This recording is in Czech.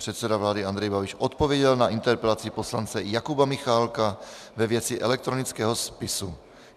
Předseda vlády Andrej Babiš odpověděl na interpelaci poslance Jakuba Michálka ve věci elektronického spisu.